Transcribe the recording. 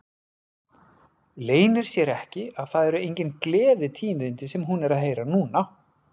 Leynir sér ekki að það eru engin gleðitíðindi sem hún er að heyra núna.